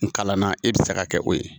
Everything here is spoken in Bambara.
N kalanna e bɛ se ka kɛ o ye